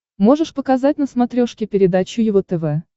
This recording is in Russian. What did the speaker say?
можешь показать на смотрешке передачу его тв